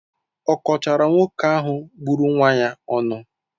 Ọ kọchaara nwoke ahụ gburu nwa ya ọnụ?